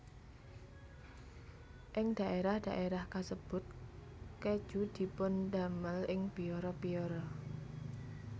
Ing dhaérah dhaérah kasebut kèju dipundamel ing biara biara